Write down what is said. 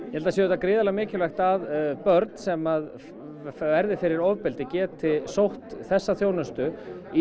gríðarlega mikilvægt að börn sem verða fyrir ofbeldi geti sótt þessa þjónustu